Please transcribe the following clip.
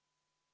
Tänan!